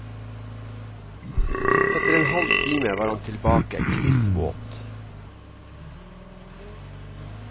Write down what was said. Etter en halv time var han tilbake, kliss våt.